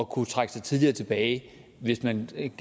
kunne trække sig tidligere tilbage hvis man ikke